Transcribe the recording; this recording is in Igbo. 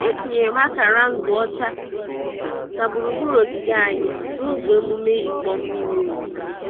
Etinyere m akara nzu ọcha na gburugburu ogige anyị n'oge emume ịkpọ mmiri ozuzo.